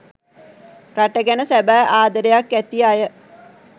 රට ගැන සැබෑ ආදරයක් ඇති අය